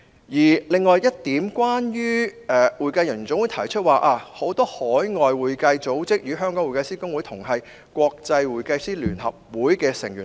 此外，總會指出，很多海外會計組織與香港會計師公會同屬國際會計師聯合會的成員。